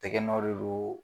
Tɛgɛ nɔ de don.